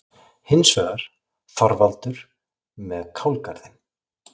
Hins vegar: Þorvaldur með kálgarðinn.